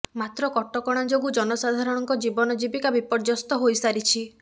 ମାତ୍ର କଟକଣା ଯୋଗୁଁ ଜନସାଧାରଣଙ୍କ ଜୀବନ ଜୀବିକା ବିପର୍ଯ୍ୟସ୍ତ ହୋଇସାରିଛି